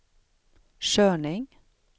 körning